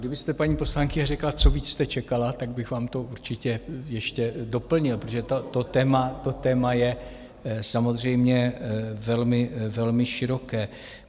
Kdybyste, paní poslankyně, řekla, co víc jste čekala, tak bych vám to určitě ještě doplnil, protože to téma je samozřejmě velmi široké.